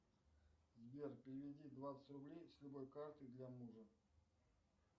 сбер переведи двадцать рублей с любой карты для мужа